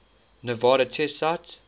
nevada test site